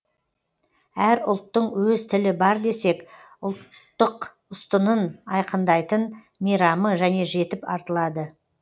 әр ұлттың өз тілі бар десек ұлттық ұстынын айқындайтын мейрамы және жетіп артылады